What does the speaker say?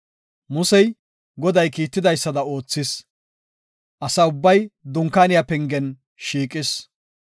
Musey Goday kiitidaysada oothis; asa ubbay dunkaaniya penge shiiqis.